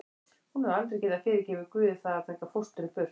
Hún hefur aldrei getað fyrirgefið Guði það að taka fóstru burt.